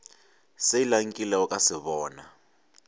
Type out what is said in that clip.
sela nkilego ka se bona